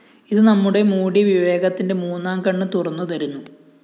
അത് നമ്മുടെ മൂടിയ വിവേകത്തിന്റെ മൂന്നാംകണ്ണ് തുറന്നുതരുന്നു